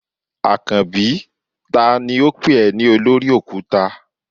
Akanbi tani o pe e ni olori okuta?